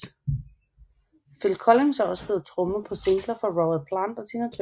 Phil Collins har også spillet trommer på singler for Robert Plant og Tina Turner